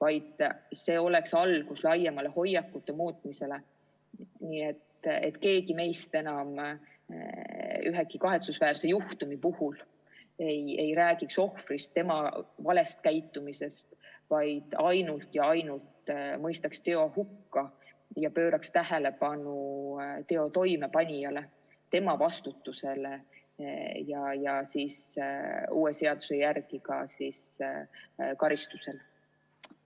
See peaks olema algus laiemale hoiakute muutmisele, nii et keegi meist enam mõne kahetsusväärse juhtumi puhul ei räägiks ohvrist, tema valest käitumisest, vaid ainult ja ainult mõistaks teo hukka ja pööraks tähelepanu teo toimepanijale, tema vastutusele ja uue seaduse järgi ka karistusele.